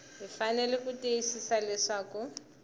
hi fanele ku tiyisisa leswaku